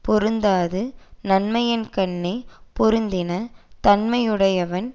பொருந்தாது நன்மையின்கண்ணே பொருந்தின தன்மையுடையவன்